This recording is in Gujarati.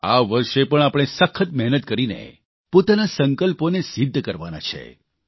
આ વર્ષે પણ આપણે સખત મહેનત કરીને પોતાના સંકલ્પોને સિદ્ધ કરવાના છે